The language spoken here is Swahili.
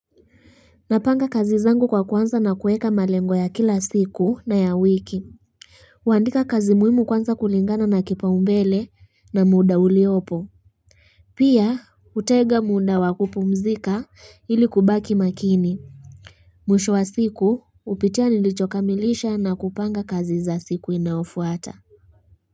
Napanga kazi zangu kwa kuanza na kuweka malengo ya kila siku na ya wiki huandika kazi muhimu kwanza kulingana na kipaombele na muda uliopo Pia hutenga muda wakupumzika ili kubaki makini Mwisho wa siku hupitia nilichokamilisha na kupanga kazi za siku inayofuata.